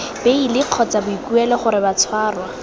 beili kgotsa boikuelo gore batshwarwa